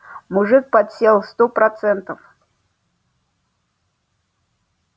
мужик подсел сто процентов